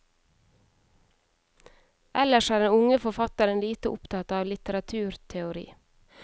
Ellers er den unge forfatteren lite opptatt av litteraturteori.